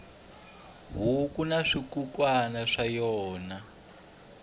huku na swikukwana swa yona